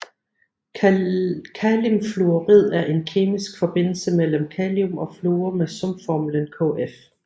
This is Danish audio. Kalimfluorid er en kemisk forbindelse mellem kalium og fluor med sumformlen KF